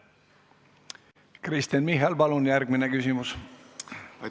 Kristen Michal, palun järgmine küsimus!